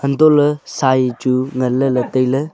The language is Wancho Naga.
anto le sai chu ngan lah le taile.